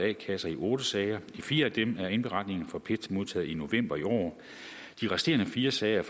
a kasser i otte sager i de fire af dem er indberetninger fra pet modtaget i november i år de resterende fire sager